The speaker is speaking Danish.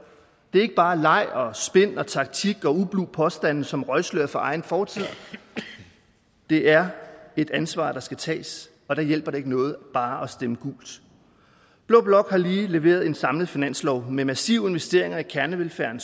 er ikke bare leg og spin og taktik og ublu påstande som røgslør for egen fortid det er et ansvar der skal tages og der hjælper det ikke noget bare at stemme gult blå blok har lige leveret en samlet finanslov med massive investeringer i kernevelfærden